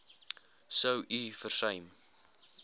sou u versuim